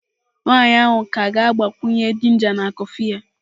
Nwanyị ahụ ka ga-agbakwunye ginger na kọfị ya.